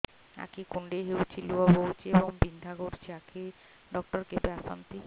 ଆଖି କୁଣ୍ଡେଇ ହେଉଛି ଲୁହ ବହୁଛି ଏବଂ ବିନ୍ଧା କରୁଛି ଆଖି ଡକ୍ଟର କେବେ ଆସନ୍ତି